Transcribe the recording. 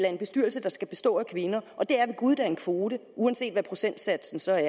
af en bestyrelse der skal bestå af kvinder og det er ved gud da en kvote uanset hvad procentsatsen så er